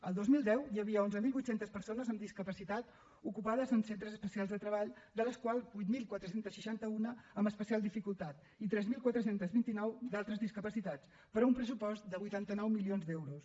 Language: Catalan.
el dos mil deu hi havia onze mil vuit cents persones amb discapacitat ocupades en centres especials de treball de les quals vuit mil quatre cents i seixanta un amb especial dificultat i tres mil quatre cents i vint nou d’altres discapacitats per a un pressupost de vuitanta nou milions d’euros